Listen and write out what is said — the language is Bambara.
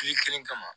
Kile kelen kama